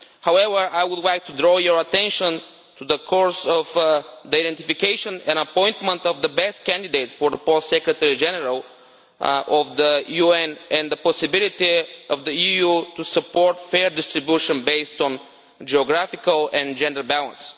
However, I would like to draw your attention to the course of the identification and appointment of the best candidate for the post of Secretary General of the UN and the possibility of the EU to support fair distribution based on geographical and gender balance.